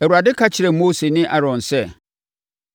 Awurade ka kyerɛɛ Mose ne Aaron sɛ,